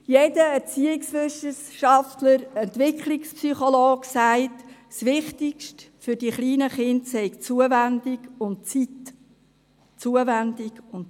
Jeder Erziehungswissenschafter und jeder Entwicklungspsychologe sagt, das Wichtigste für die kleinen Kinder seien Zuwendung und